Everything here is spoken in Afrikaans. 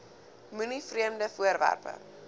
moenie vreemde voorwerpe